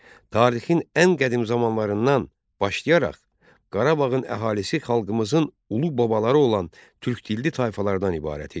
Tarixin ən qədim zamanlarından başlayaraq Qarabağın əhalisi xalqımızın ulu babaları olan türk dilli tayfalardan ibarət idi.